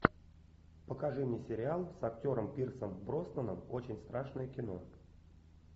покажи мне сериал с актером пирсом броснаном очень страшное кино